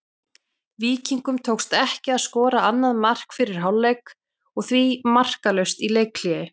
Víkingum tókst ekki að skora annað mark fyrir hálfleik og því markalaust í leikhléi.